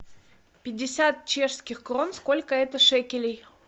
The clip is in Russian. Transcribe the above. пятьдесят чешских крон сколько это шекелей